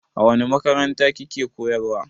A wani makaranta ki ke koyarwa?